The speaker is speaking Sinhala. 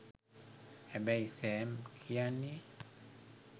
හැබැයි සෑම් කියන්නේ